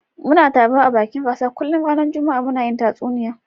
Muna taruwa a bakin kasuwa kullun ranan juma'a muna hun tatsuniya